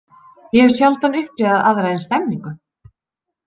Ég hef sjaldan upplifað aðra eins stemningu.